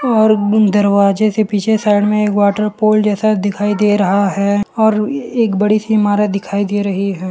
और ग्गं दरवाजे से पीछे साइड में एक वॉटर पोल जैसा दिखाई दे रहा है और ए एक बड़ी सी इमारत दिखाई दे रही है।